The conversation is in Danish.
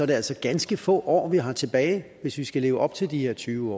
det altså ganske få år vi har tilbage hvis vi skal leve op til de her tyve